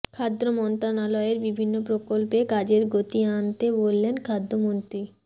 খাদ্য মন্ত্রণালয়ের বিভিন্ন প্রকল্পে কাজের গতি আনতে বললেন খাদ্যমন্ত্রী